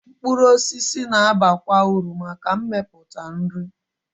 Mkpụrụ osisi na-abakwa uru maka mmepụta nri.